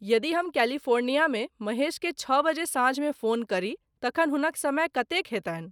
यदि हम कैलिफोर्निया में महेश के छह बजे सांझ में फोन करी तखन हुनक समय कतेक हेतनि